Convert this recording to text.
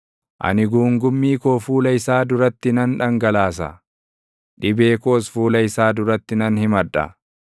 Ani guungummii koo fuula isaa duratti nan dhangalaasa; dhibee koos fuula isaa duratti nan himadha.